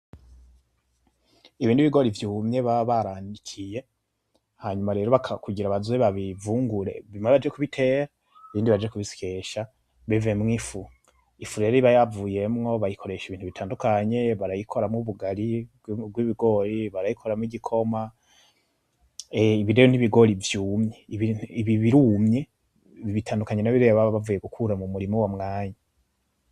Ibi nibigori vyumye baba baranikiye, hanyuma rero kugira baze babivungure, bimwe baje kubitera ibindi baje kubisyesha bivemwo ifu. Ifu rero iba yavuyemwo bayikoresha ibintu bitandukanye, barayikoramwo ubugari bwibigori, barayikoramwo igikoma. Ibi rero nibigori vyumye, ibi birumye, bitandukanye nabirya baba bavuye gukura mumurima uyo mwanya.